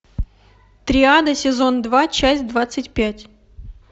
триада сезон два часть двадцать пять